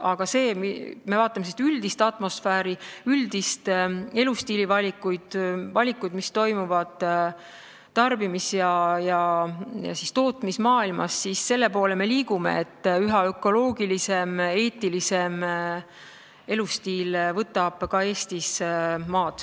Aga kui me vaatame üldist atmosfääri, üldiseid elustiilivalikuid, valikuid, mis toimivad tarbimis- ja tootmismaailmas, siis me liigume selle poole, et üha ökoloogilisem ja eetilisem elustiil võtab ka Eestis maad.